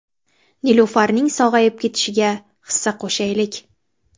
Nilufarning sog‘ayib ketishiga hissa qo‘shaylik!